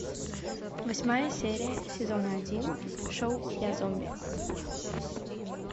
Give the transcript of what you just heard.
восьмая серия сезона один шоу я зомби